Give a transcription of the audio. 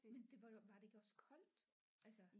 Men det var var det ikke også koldt altså